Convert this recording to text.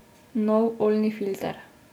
Nov oljni filter.